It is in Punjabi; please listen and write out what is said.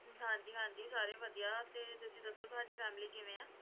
ਹਾਂ ਜੀ ਹਾਂ ਜੀ ਸਾਰੇ ਵਧੀਆ ਤੇ ਤੁਸੀਂ ਦੱਸੋ ਤੁਹਾਡੀ Family ਕਿਵੇਂ ਹੈ?